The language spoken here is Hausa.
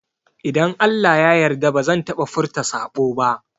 Idan Allah ya yarda bazan taɓa furta saɓo ba